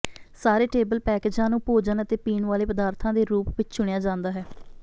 ਸਾਰੇ ਟੇਬਲ ਪੈਕੇਜਾਂ ਨੂੰ ਭੋਜਨ ਅਤੇ ਪੀਣ ਵਾਲੇ ਪਦਾਰਥਾਂ ਦੇ ਰੂਪ ਵਿਚ ਚੁਣਿਆ ਜਾਂਦਾ ਹੈ